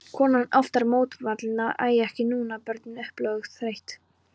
Konan oftar mótfallin, æ ekki núna, börnin, óupplögð, þreytt.